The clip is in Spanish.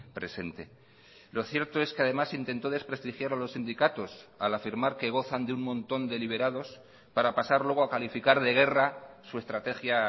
presente lo cierto es que además intentó desprestigiar a los sindicatos al afirmar que gozan de un montón de liberados para pasar luego a calificar de guerra su estrategia